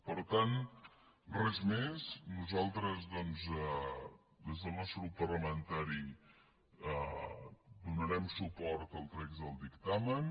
per tant res més nosaltres doncs des del nostre grup parlamentari donarem suport al text del dictamen